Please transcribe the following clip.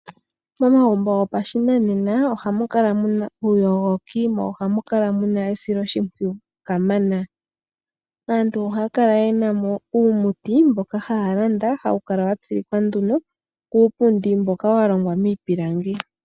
Momagumbo gopashinanena ohamu kala muna uuyogoki, mo ohamu kala muna esiloshimpwiyu kamana. Aantu ohaya kala yena mo uumuti mboka haya landa, hawu kala wa tsilikwa nduno kuupundi mboka wa longwa miipilangi.